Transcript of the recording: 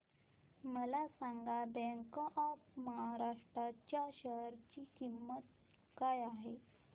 मला सांगा bank of Maharashtra च्या शेअर ची किंमत काय आहे